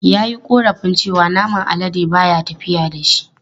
Ya yi korafin cewa naman alade ba ya tafiya da shi.